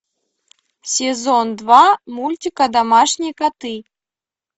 сезон два мультика домашние коты